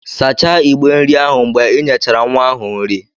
Sachaa ìgbé nri ahụ mgbe ị nyechara nwa ahụ nri